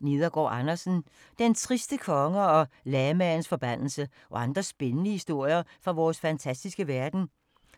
Nedergaard Andersen, Martin: Den triste konge og lamaens forbandelse - og andre spændende historier fra vores fantastiske verden